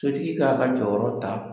Sotigi k'a ka jɔyɔrɔ ta,